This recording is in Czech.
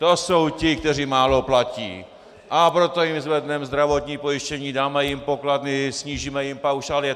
To jsou ti, kteří málo platí, a proto jim zvedneme zdravotní pojištění, dáme jim pokladny, snížíme jim paušály.